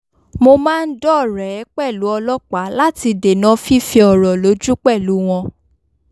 mo máa ń dọ́rẹ̀ẹ́ pẹ̀lú ọlọ́pàá láti dènà fífẹ ọ̀rọ̀ lójú pẹ̀lú wọn